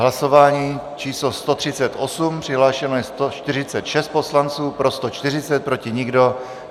Hlasování číslo 138, přihlášeno je 146 poslanců, pro 140, proti nikdo.